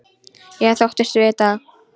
Ég þóttist vita það.